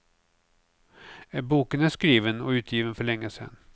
Boken är skriven och utgiven för länge sedan.